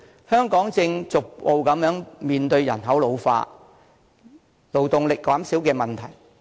香港目前正逐步面對人口老化、勞動力減少的問題。